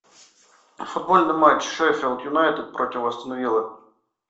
футбольный матч шеффилд юнайтед против астон вилла